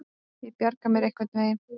Ég bjarga mér einhvern veginn.